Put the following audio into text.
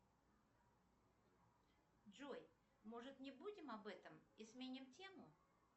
джой может не будем об этом и сменим тему